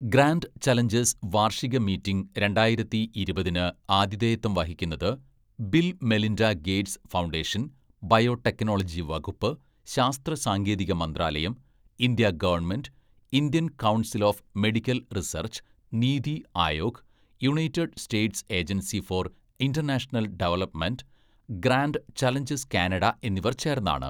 Grand Challenges വാർഷിക meeting രണ്ടായിരത്തി ഇരുപതിന്‌ ആതിഥേയത്വം വഹിക്കുന്നത് Bill Melinda Gates Foundation, biotechnology വകുപ്പ്, ശാസ്ത്ര സാങ്കേതിക മന്ത്രാലയം, India government, Indian Council of Medical Research, NITI Aayog, United States Agency for International Development, Grand Challenges Canada എന്നിവർ ചേർന്നാണ്.